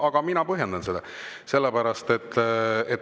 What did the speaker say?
Aga mina põhjendan seda.